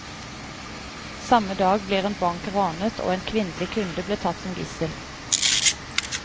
Samme dag blir en bank ranet, og en kvinnelig kunde blir tatt som gissel.